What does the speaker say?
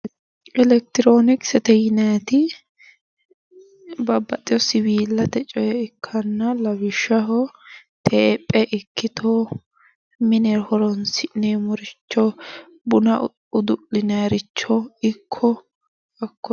Elekitironikisete yinnayiti babbaxewo siwillate coye ikkanna lawishshaho tephe ikkitto mine horonsi'neemmoricho buna udu'linanniricho ikko